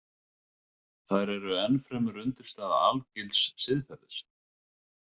Þær eru enn fremur undirstaða algilds siðferðis.